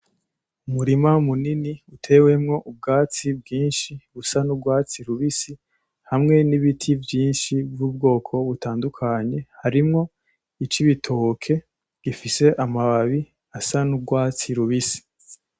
Umurima munini utewemwo ubwatsi bwinshi busa n'ugwatsi rubisi, hamwe n'ibiti vyinshi vyubwoko butandukanye, harimwo ic'ibitoke gifise amababi asa n'ugwatsi rubisi.